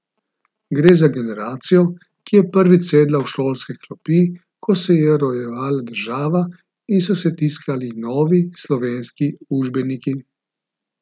Gre za generacijo, ki je prvič sedala v šolske klopi, ko se je rojevala država in so se tiskali novi, slovenski učbeniki.